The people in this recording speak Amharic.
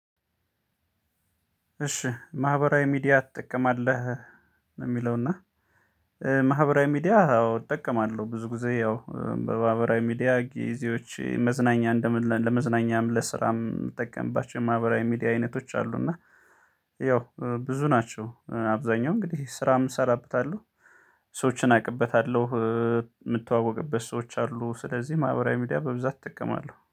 እሺ ማህበራዊ ሚዲያ ትጠቀማለህ? ነው ሚለውና እእ ማህበራዊ ሚዲያ አዎ እጠቀማለሁ ብዙ ጊዜ ያው እእ በማህበራዊ ሚዲያ ጊዜዎች መዝናኛ ለመዝናኛም ለስራም የምጠቀምባቸው ማህበራዊ ሚዲያ አይነቶች አሉ። እና ያው ብዙ ናቸው እ እ አብዛኛው እንግዲህ ስራም እሰራበታለሁ። ሰዎችን አቅበታለሁ እእ የምተዋወቅበት ሰዎች አሉ ስለዚህ ማህበራዊ ሚዲያ በብዛት እጠቀማለሁ